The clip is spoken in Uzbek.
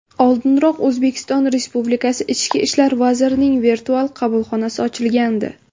Oldinroq O‘zbekiston Respublikasi ichki ishlar vazirining virtual qabulxonasi ochilgandi .